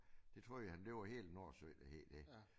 Det troede han det var hele Nordsøen der havde det